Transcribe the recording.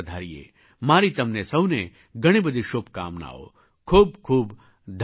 મારી તમને સહુને ઘણી ઘણી શુભકામનાઓ ખૂબ ખૂબ ધન્યવાદ